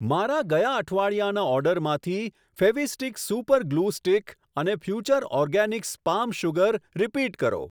મારા ગયા અઠવાડિયાના ઓર્ડરમાંથી ફેવીસ્ટિક સુપર ગ્લુ સ્ટિક અને Future Organics palm sugar repeat કરો.